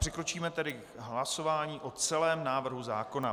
Přikročíme tedy k hlasování o celém návrhu zákona.